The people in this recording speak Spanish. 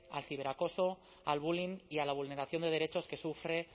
al ciberacoso al bullying y a la vulneración de derechos que sufre